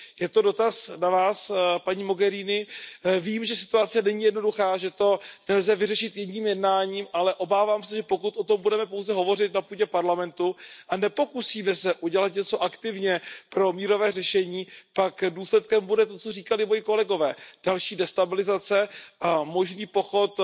Je to dotaz na vás, paní Mogheriniová. Vím, že situace není jednoduchá a že to nelze vyřešit jedním jednáním, ale obávám se, že pokud o tom budeme pouze hovořit na půdě Evropského parlamentu a nepokusíme se udělat něco aktivně pro mírové řešení, pak důsledkem bude to, co říkali moji kolegové další destabilizace a možný pochod